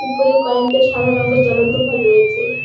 উপরে কয়েকটা সাদা রঙের জ্বলন্ত ভলভ রয়েছে।